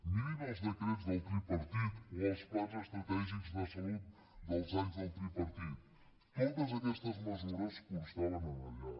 mirin els decrets del tripartit o els plans estratègics de salut dels anys del tripartit totes aquestes mesures constaven allà